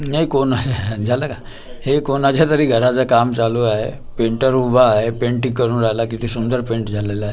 नाही कोण आहे झालं का हे कोणाच्यातरी घराचं काम चालू आहे. पेंटर उभा आहे पेंटिंग करून राहिला किती सुंदर पेंट झालेला आहे.